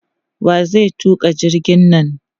Wa zai tuƙa jirgin nan?